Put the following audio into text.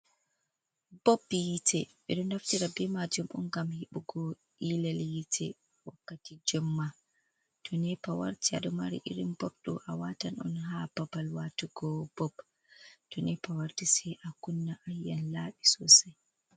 Bob hiite ɓeɗo naftira ɓe majeum on ngam heɓugo ilal hiite wakkati jemma, to nepa warti aɗo mari irin bob ɗo a watan on ha babal watugo bob to nepa warti sai a kunna ayian laaɓi sosai.